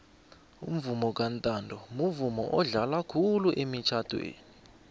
umvomo kantanto mvumo odlalwa khulu emitjhadweni